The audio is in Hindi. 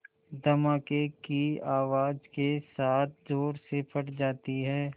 धमाके की आवाज़ के साथ ज़ोर से फट जाती है